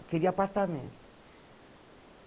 Eu queria apartamento.